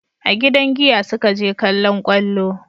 A gidan giya su ka je kallon kwallo